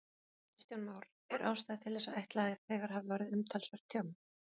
Kristján Már: Er ástæða til þess að ætla að þegar hafi orðið umtalsvert tjón?